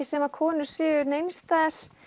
sem konur séu neins staðar